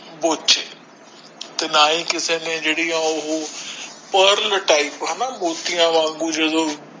ਤੇ ਨਾ ਏ ਕਿਸੇ ਨੇ ਜੋ pearl type ਹਨ ਮੋਟੀਆਂ ਵਾਂਗੂ